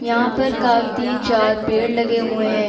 यहाँ पर का तीन चार पेड़ लगे हुए हैं ।